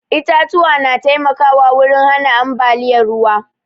Itatuwa na taimkawa wurin hana ambaliyar ruwa